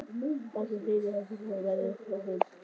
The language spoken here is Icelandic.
Magnús Hlynur: Og framleiðslugetan hver verður hún?